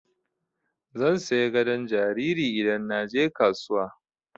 Zan saya gadon jariri idan na je kasuwa.